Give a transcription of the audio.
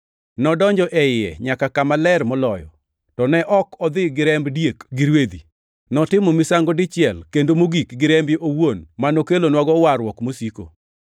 Nodonjo iye nyaka Kama Ler Moloyo, to ne ok odhi gi remb diek gi rwedhi. Notimo misango dichiel kendo mogik gi rembe owuon ma nokelonwago warruok mosiko.